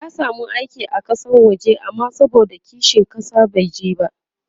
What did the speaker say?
ya samu aiki a Kasan waje amma saboda kishin ƙasa bai je ba